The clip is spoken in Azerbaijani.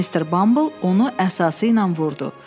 Mister Bumble onu əsasıyla vurdu.